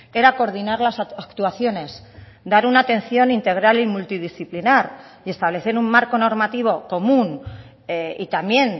era coordinar las actuaciones dar una atención integral y multidisciplinar y establecer un marco normativo común y también